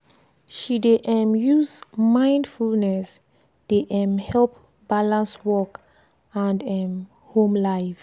she dey um use mindfulness dey um help balance work and um home life.